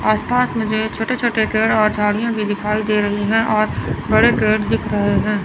आस पास मुझे छोटे छोटे गेड और झाड़ियां भी दिखी दे रही है और बड़े पेड़ दिख रहे हैं।